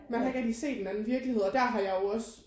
Man har ikke rigtig set en anden virkelighed og der har jeg jo også